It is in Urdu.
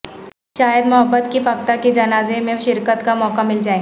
شاید محبت کی فاختہ کے جنازے میں شرکت کا موقع مل جائے